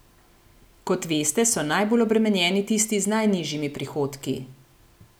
Kot veste, so najbolj obremenjeni tisti z najnižjimi prihodki.